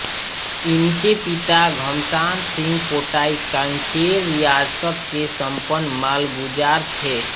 इनके पिता घमसान सिंह पोटाई कांकेर रियासत के संपन्न मालगुजार थे